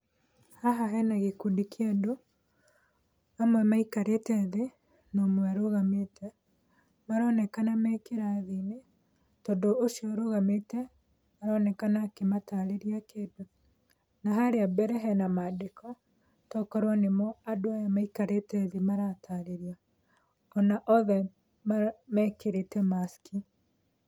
Haha hena gĩkundi kĩa andũ, amwe maikarĩte thĩ, na ũmwe arũgamite. Maronekana me kĩrathi, tondũ ũcio ũrũgamite, aronekana akĩmatarĩria kĩndũ, na harĩa mbere hena mandĩko tokorwo nĩmo andũ aya maikarĩte thĩ maratarĩrio, ona othe mekĩrĩte Mask.